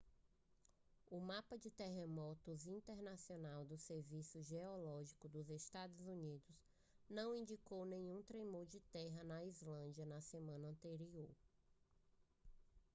o mapa de terremotos internacional do serviço geológico dos estados unidos não indicou nenhum tremor de terra na islândia na semana anterior